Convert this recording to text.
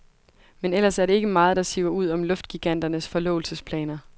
Men ellers er det ikke meget, der siver ud om luftgiganternes forlovelsesplaner.